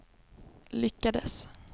lyckades